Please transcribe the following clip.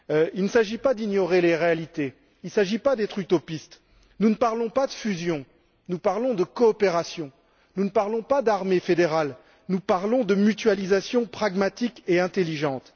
Il ne s'agit pas d'ignorer les réalités ni d'être utopiste nous ne parlons pas de fusion, nous parlons de coopération, nous ne parlons pas d'armée fédérale, nous parlons de mutualisation pragmatique et intelligente.